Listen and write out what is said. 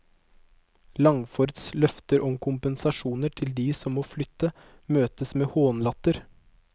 Langfords løfter om kompensasjon til de som må flytte, møtes med hånlatter.